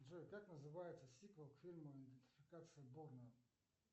джой как называется сиквел к фильму идентификация борна